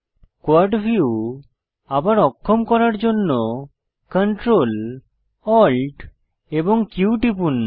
quad view আবার অক্ষম করার জন্য Ctrl Alt এবং Q টিপুন